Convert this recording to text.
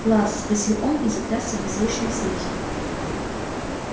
класс спросил он и затрясся в беззвучном смехе